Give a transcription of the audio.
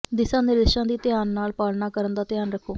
ਦਿਸ਼ਾ ਨਿਰਦੇਸ਼ਾਂ ਦੀ ਧਿਆਨ ਨਾਲ ਪਾਲਣਾ ਕਰਨ ਦਾ ਧਿਆਨ ਰੱਖੋ